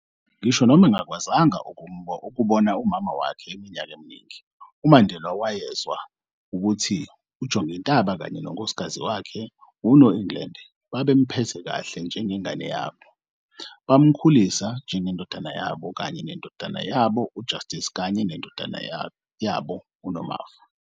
Ngisho noma engakwazanga ukubona umama wakhe iminyaka eminingi, uMandela wayezwa ukuthi uJongintaba kanye nonkosikazi wakhe uNoengland babemphethe kahle njengengane yabo, bamkhulisa njengendodana yabo kanye nendodana yabo uJustice kanye nendodakazi yabo uNomafu.